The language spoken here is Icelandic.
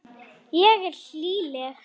Ég er hlýleg.